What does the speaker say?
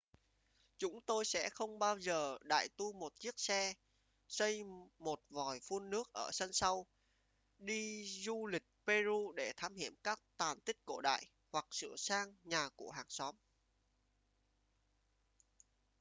chúng tôi sẽ không bao giờ đại tu một chiếc xe xây một vòi phun nước ở sân sau đi du lịch peru để thám hiểm các tàn tích cổ đại hoặc sửa sang nhà của hàng xóm